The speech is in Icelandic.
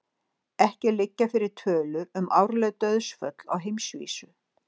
Ekki liggja fyrir tölur um árleg dauðsföll á heimsvísu.